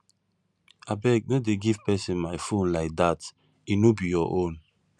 abeg no dey give person my phone like dat e no be your own